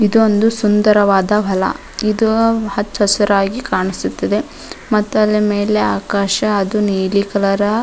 ಇದು ಒಂದು ಸುಂದರವಾದ ಹೊಲ ಇದು ಹಚ್ಚ ಹಸಿರಾಗಿ ಕಾಣಿಸುತ್ತಿದೆ ಮತ್ತು ಅದರ ಮೆಲೆ ಆಕಾಶ ನೀಲಿ ಕಲರ್ --